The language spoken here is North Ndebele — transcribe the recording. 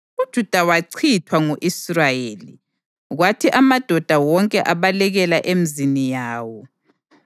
UJuda wachithwa ngu-Israyeli, kwathi amadoda wonke abalekela emizini yawo.